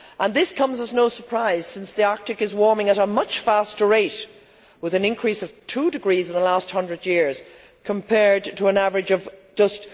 This comes as no surprise, since the Arctic is warming at a much faster rate, with an increase of two degrees in the last hundred years, compared to an average of just